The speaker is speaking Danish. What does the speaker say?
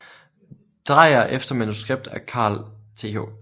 Dreyer efter manuskript af Carl Th